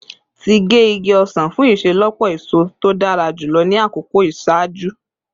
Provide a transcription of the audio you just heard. Ti ge igi osan fun iṣelọpọ eso to dara julọ ni akoko iṣaaju